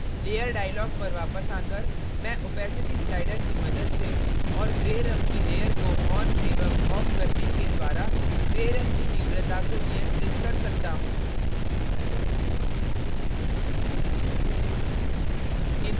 layer dialog पर वापस आकर मैं opacity slider की मदद से और gray रंग की layer को on एवं off करने के द्वारा gray रंग की तीव्रता को नियंत्रित कर सकता हूँ